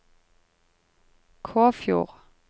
Kåfjord